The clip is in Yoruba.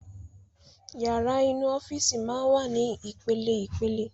Yàrá inú Ọ́fíìsì máa ń wà ní ìpele ìpele